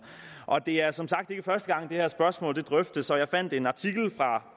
og det er som sagt ikke første gang det her spørgsmål drøftes jeg fandt en artikel fra